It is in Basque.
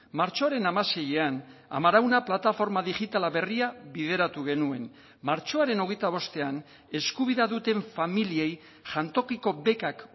martxoaren hamaseian amarauna plataforma digitala berria bideratu genuen martxoaren hogeita bostean eskubidea duten familiei jantokiko bekak